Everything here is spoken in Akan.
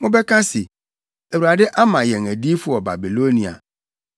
Mobɛka se, “ Awurade ama yɛn adiyifo wɔ Babilonia,”